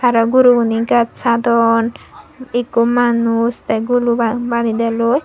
aro guru gune ghaj hadon ekku manuj te guru bani delloi.